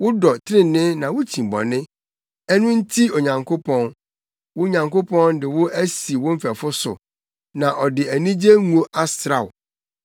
Wodɔ trenee na wukyi bɔne. Ɛno nti Onyankopɔn, wo Nyankopɔn de wo asi wo mfɛfo so, na ɔde anigye ngo asra wo.